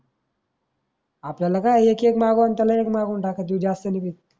आपल्याला काय एक एक मागवा अन त्याला एक मागून टाका तो ज्यास्त नाही घेत.